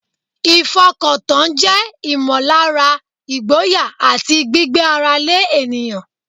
Ìfọkàntán jẹ́ ìmọ̀lára ìgboyà àti gbígbé ara lé ènìyàn.